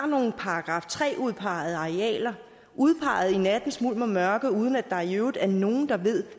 nogle § tre udpegede arealer udpeget i nattens mulm og mørke uden at der i øvrigt er nogen der ved